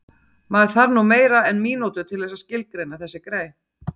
Maður þarf nú meira en mínútu til þess að skilgreina þessi grey